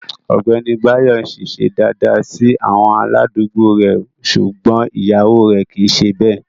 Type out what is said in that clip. Ọgbẹni Báyọ̀ n sìṣẹ̀ dáadáa sí àwọn aládùgbò rè ṣúgbọn iyàwọ rè kìí ṣè bẹ.